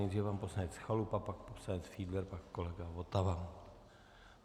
Nejdříve pan poslanec Chalupa, pak poslanec Fiedler, pak kolega Votava.